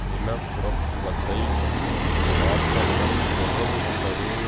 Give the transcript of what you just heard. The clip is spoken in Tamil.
நிலப்பிரபுத்துவத்தை காத்தலுடன் தொடர்பு கொண்டது